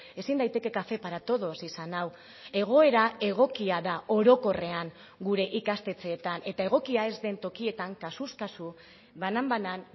ezin daiteke café para todos izan hau egoera egokia da orokorrean gure ikastetxeetan eta egokia ez den tokietan kasuz kasu banan banan